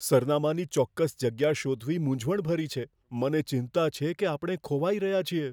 સરનામાની ચોક્કસ જગ્યા શોધવી મૂંઝવણભરી છે. મને ચિંતા છે કે આપણે ખોવાઈ રહ્યા છીએ.